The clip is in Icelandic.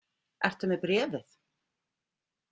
Ertu með bréfið?